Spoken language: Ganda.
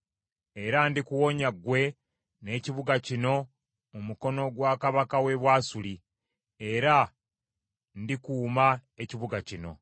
Era ndikuwonya ggwe n’ekibuga kino mu mukono gwa kabaka w’e Bwasuli: Era ndikuuma ekibuga kino.